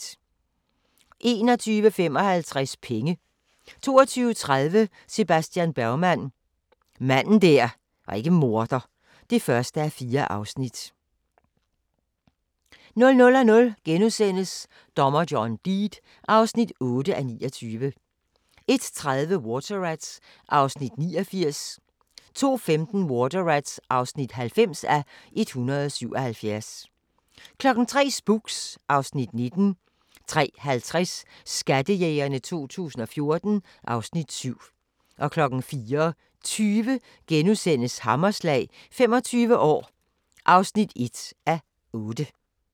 21:55: Penge 22:30: Sebastian Bergman: Manden der ikke var morder (1:4) 00:00: Dommer John Deed (8:29)* 01:30: Water Rats (89:177) 02:15: Water Rats (90:177) 03:00: Spooks (Afs. 19) 03:50: Skattejægerne 2014 (Afs. 7) 04:20: Hammerslag – 25 år (1:8)*